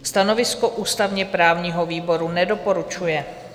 Stanovisko ústavně-právního výboru: nedoporučuje.